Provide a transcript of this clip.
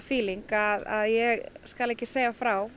samtryggingarfíling að ég skal ekki segja frá